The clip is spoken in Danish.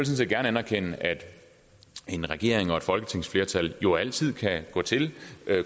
set gerne anerkende at en regering og et folketingsflertal jo altid kan gå til